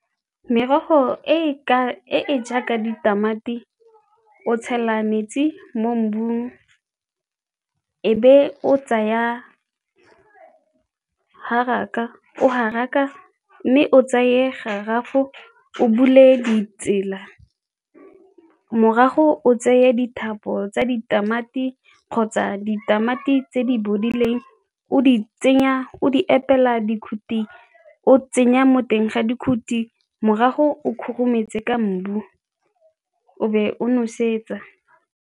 Merogo e e jaaka ditamati, o tshela metsi mo mmung e be o tsaya haraka o haraka mme o tsaye o bule ditsela morago o tseye tsa ditamati kgotsa ditamati tse di bodileng o di tsenya o di epela dikhuti, o tsenya mo teng ga dikhuti morago o khurumetse ka mmu o be o nosetsa.